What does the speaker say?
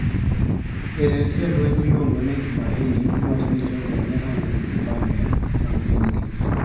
Jatend jolweny miluongo ni Tumaini nowacho ni jogo ne onge gi kipande mag pinygi.